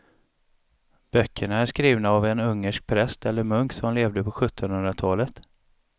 Böckerna är skrivna av en ungersk präst eller munk som levde på sjuttonhundratalet.